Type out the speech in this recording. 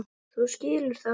Þú skilur þetta?